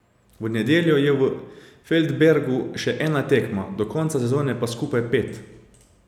V nedeljo je v Feldbergu še ena tekma, do konca sezone pa skupaj pet.